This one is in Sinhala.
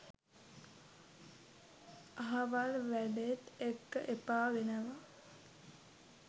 අහවල් වැඩේත් එක්ක එපා වෙනවා.